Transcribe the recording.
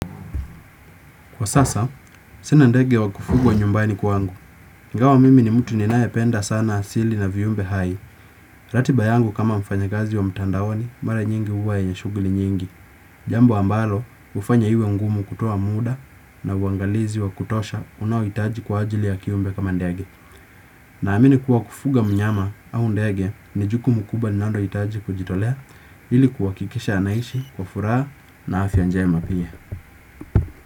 Kwa sasa, sina ndege wa kufugwa nyumbani kwangu. Ingawa mimi ni mtu ninae penda sana asili na viumbe hai. Ratiba yangu kama mfanyakazi wa mtandaoni, mara nyingi huwa yenye shughuli nyingi. Jambo ambalo, hufanya iwe ngumu kutoa muda na uangalizi wa kutosha unaohitaji kwa ajili ya kiumbe kama ndege. Naamini kuwa kufuga mnyama au ndege, ni jukumu kubwa linalo hitaji kujitolea, ili kuhakikisha anaishi, kwa furaha na afya njema pia.